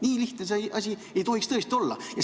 Nii lihtne see asi ei tohiks tõesti olla.